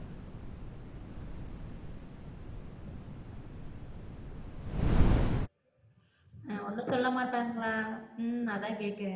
ஒண்ணும் சொல்ல மாட்டாங்களா? உம் அதா கேட்க